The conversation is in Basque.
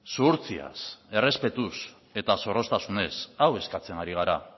zuhurtziaz errespetuz eta zorroztasunez hau eskatzen ari gara